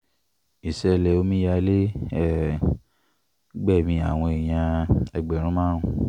ìṣẹ̀lẹ̀ omíyalé um gbẹ̀mí àwọn èèyàn ẹgbẹ̀rún márùn